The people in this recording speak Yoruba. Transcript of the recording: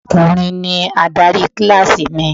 Ọkùnrin ni adarí kíláàsì mi.